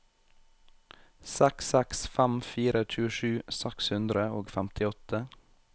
seks seks fem fire tjuesju seks hundre og femtiåtte